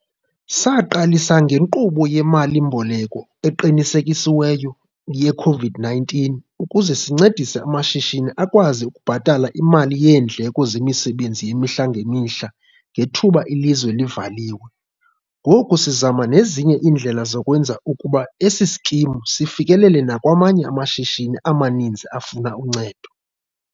Saqalisa ngeNkqubo yeMali-mboleko Eqinisekisiweyo ye-COVID-19 ukuze sincedise amashishini akwazi ukubhatala imali yeendleko zemisebenzi yemihla ngemihla ngethuba ilizwe livaliwe, ngoku sizama nezinye indlela zokwenza ukuba esi sikimu sifikelele nakwamanye amashishini amaninzi afuna uncedo.